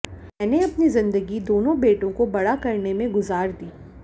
मैंने अपनी जिंदगी दोनों बेटों को बड़ा करने में गुजार दी